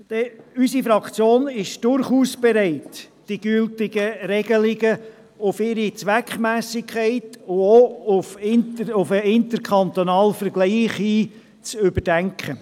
Unsere Fraktion ist durchaus bereit, die gültigen Regelungen auf ihre Zweckmässigkeit und auch auf den interkantonalen Vergleich hin zu überdenken.